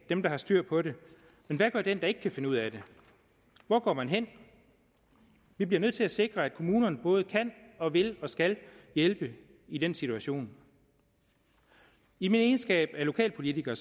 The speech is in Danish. dem der har styr på det men hvad gør den der ikke kan finde ud af det hvor går man hen vi bliver nødt til at sikre at kommunerne både kan og vil og skal hjælpe i den situation i min egenskab af lokalpolitiker